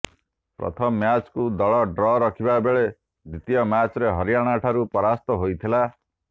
ପ୍ରଥମ ମ୍ୟାଚ୍କୁ ଦଳ ଡ୍ର ରଖିଥିବା ବେଳେ ଦ୍ୱିତୀୟ ମ୍ୟାଚ୍ରେ ହରିୟାଣାଠାରୁ ପରାସ୍ତା ହୋଇଥିଲା